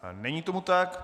Není tomu tak.